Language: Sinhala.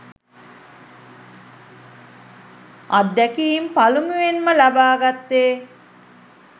අත්දැකීම් පළමුවෙන්ම ලබාගත්තෙ